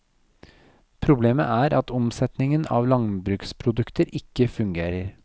Problemet er at omsetningen av landbruksprodukter ikke fungerer.